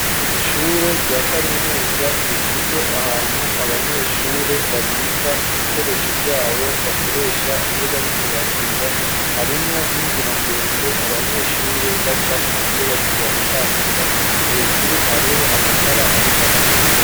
Ishure rya kaminuza rifise ahantu abanyeshure babika ibikoresho vyabo bakoresha iyo bariko bariga, harimwo n'inzira ndende abanyeshure bacamwo iyo bariko baratambuka, hejuru hariho amatara ariko araka.